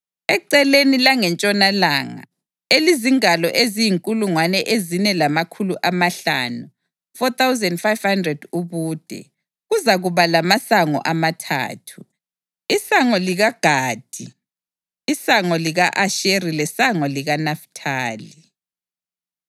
Eceleni langentshonalanga, elizingalo eziyinkulungwane ezine lamakhulu amahlanu (4,500) ubude, kuzakuba lamasango amathathu: isango likaGadi, isango lika-Asheri lesango likaNafithali.